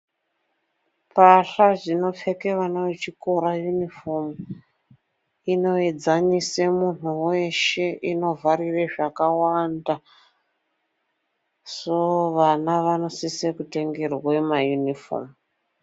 Pahla dzinopfeke vana vechikora (uniformu), inoedzanise muntu weshe, inovharire zvakawanda. Soo vana vanosise kutengerwa maunifomu.